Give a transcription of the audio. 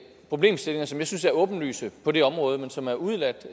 problemstillinger som jeg synes er åbenlyse på det område men som er udeladt